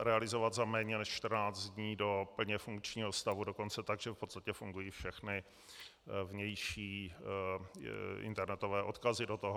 realizovat za méně než 14 dní do plně funkčního stavu, dokonce tak, že v podstatě fungují všechny vnější internetové odkazy do toho.